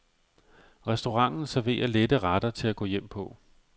Restauranten serverer lette retter til at gå hjem på.